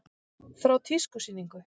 Frá tískusýningu.